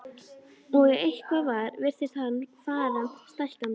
Og ef eitthvað var virtist hann fara stækkandi.